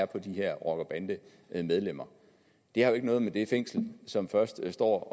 på de her rocker bande medlemmer det har jo ikke noget med det fængsel som først står